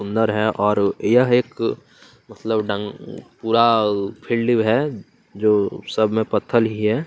सुंदर है और यह एक मतलब डन पूरा फील्डव है जो सब में पत्थर ही है।